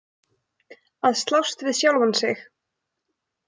Að slást við sjálfan sig.